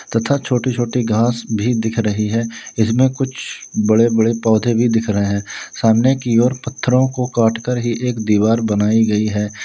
तथा छोटी छोटी घास भी दिख रही है इसमें कुछ बड़े बड़े पौधे भी दिख रहे हैं सामने की ओर पत्थरों को काटकर ही एक दीवार बनाई गई है।